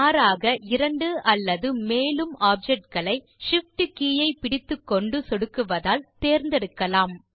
மாறாக இரண்டு அல்லது மேலும் ஆப்ஜெக்ட் களை Shift கே ஐ பிடித்துக்கொண்டு சொடுக்குவதால் தேர்ந்தெடுக்கலாம்